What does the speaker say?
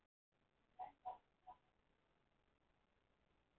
Í raun bara það sama og við sjáum á hverju kvöldi í sjónvarpsfréttum.